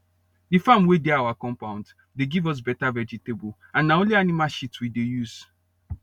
the farm wey dey our compound dey give us better vegetable and na only animal shit we dey use